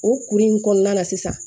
O kuru in kɔnɔna na sisan